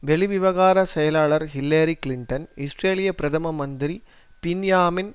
வெளிவிவகார செயலாளர் Hillary Clinton இஸ்ரேலிய பிரதம மந்திரி பின்யாமின்